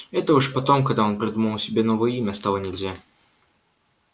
это уж потом когда он придумал себе новое имя стало нельзя